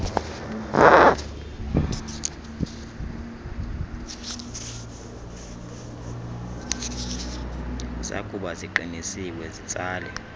zakuba ziqinisiwe zitsale